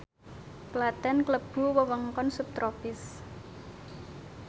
Klaten klebu wewengkon subtropis